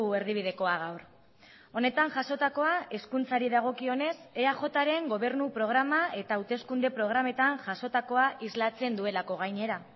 erdibidekoa gaur honetan jasotakoa hezkuntzari dagokionez eajren gobernu programa eta hauteskunde programetan jasotakoa islatzen duelako gainera